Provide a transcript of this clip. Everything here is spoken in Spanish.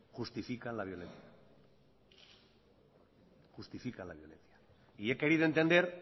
justifican la violencia justifican la violencia y he querido entender